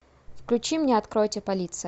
включи мне откройте полиция